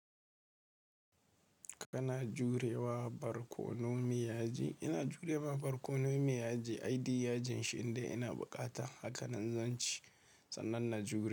Kana jurewa barkono meyaji? Ina jurema barkono meyaji. Ai, diy-yajin shi inde ina bukata. Haka nan zan ci. Sannan na jure.